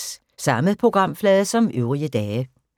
Samme programflade som øvrige dage